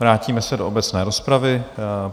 Vrátíme se do obecné rozpravy.